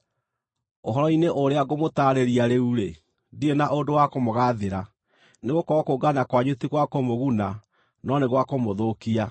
Ũhoro-inĩ ũrĩa ngũmũtaarĩria rĩu-rĩ, ndirĩ na ũndũ wa kũmũgaathĩra, nĩgũkorwo kũngana kwanyu ti gwa kũmũguna no nĩ gwa kũmũthũkia.